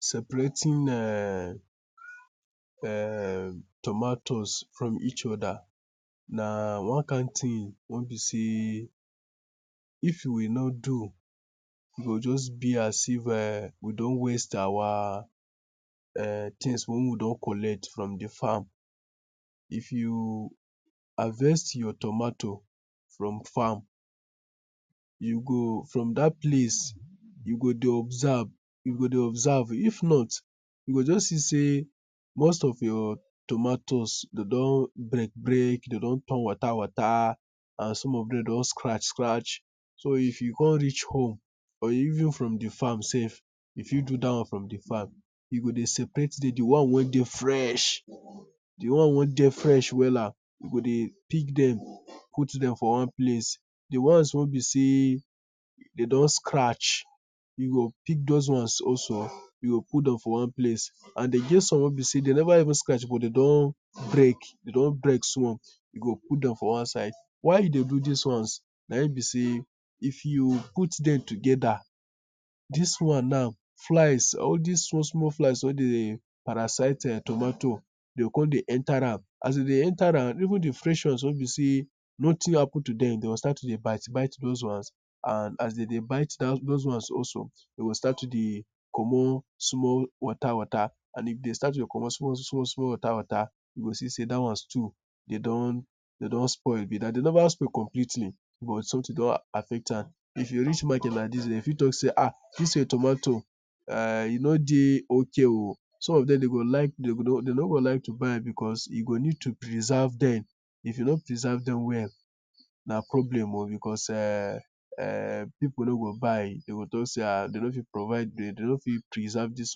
Separating eh tomatoes from each other na one kind thing wey be sey if we no do, e go just be as if we don waste our things wey we don collect from the farm. If you harvest your tomato from farm you go from that place, you go dey observe, you go dey observe. If not you go just see sey most of your tomatoes dem don break break, dem don turn water water, and some of them don scratch scratch so if you come reach home, or even from the farm sef, you fit do that one from the farm, you go dey separate dem, di ones wey dey fresh, di ones wey dey fresh Wella, you go dey pick dem put for one place Di ones wey be sey dem don scratch, you go pick those ones also, put dem for one place And e get some also, dem never even scratch but dem don break small, you go put dem for one side, why you dey do these ones be sey these ones, if you put them together, flies, all these small small flies wey dey parasite tomato, dem go come dey enter am As den dey enter am, even the fresh ones wey be sey nothing happen to dem, dem go start to dey bite bite those ones, and as dem dey bite those ones also, dem go start to dey comot small small water water, and if dem start to dey comot small small water water, you go see sey that one too, dem don spoil be that. Dem never spoil completely o, but something don affect am. If you reach market like this, dem fit talk sey ah, this your tomato eh, e no dey okay o, some of them dem no go like to buy because you go need to preserve them if you no preserve them, na problem o because eh people no go buy, dem go talk sey dem no fit preserve this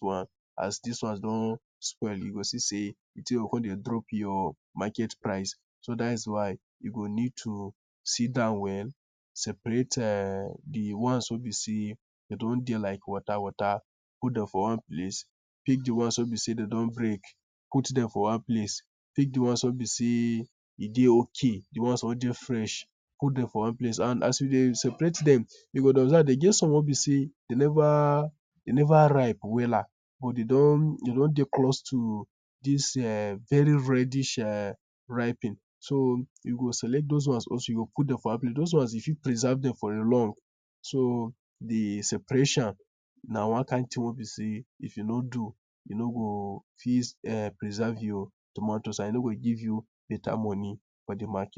one as these ones don spoil, you go see sey the thing go come dey drop your market price, so that is why you go need to sit down well, separate eh the ones wey be sey dem don dey like water water, put dem for one place, pick the ones wey be like sey dem don break, put them for one place, pick the ones wey be sey dem dey okay, the ones wey dey fresh, put dem for one place And as you dey separate them, you go dey observe, e get some wey be sey dem never ripe Wella, but dem don dey close to this very reddish riping, you go select those ones also, put them for one place Those ones, you fit preserve them for long, so the separation na one kind thing wey be sey if you no do, you no go fit preserve your tomatoes and e no go give you better money for the mark